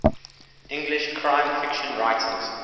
english crime fiction writers